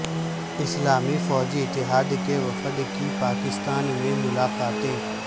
اسلامی فوجی اتحاد کے وفد کی پاکستان میں ملاقاتیں